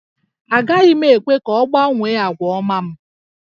Agaghị m ekwe ka ọ gbanwee àgwà ọma m